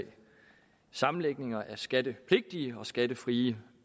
sammenlægninger af skattepligtige og skattefrie